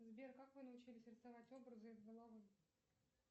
сбер как вы научились рисовать образы из головы